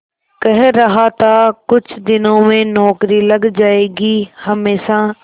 कह रहा था कुछ दिनों में नौकरी लग जाएगी हमेशा